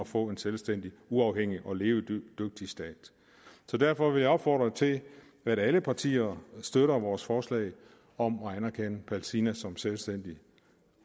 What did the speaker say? få en selvstændig uafhængig og levedygtig stat derfor vil jeg opfordre til at alle partier støtter vores forslag om at anerkende palæstina som en selvstændig